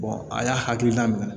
a y'a hakilina min